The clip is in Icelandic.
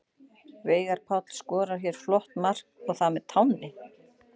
Veigar Páll skorar hér flott mark og það með tánni!